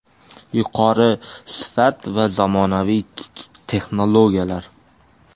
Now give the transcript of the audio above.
Yuqori sifat va zamonaviy texnologiyalar .